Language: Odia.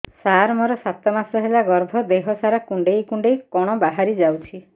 ସାର ମୋର ସାତ ମାସ ହେଲା ଗର୍ଭ ଦେହ ସାରା କୁଂଡେଇ କୁଂଡେଇ କଣ ବାହାରି ଯାଉଛି